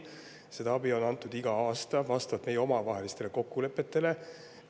Seda abi on antud iga aasta vastavalt meie omavahelistele kokkulepetele.